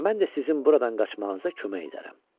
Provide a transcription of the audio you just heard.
Mən də sizin buradan qaçmağınıza kömək edərəm.